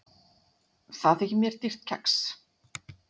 Það þykir mér dýrt kex.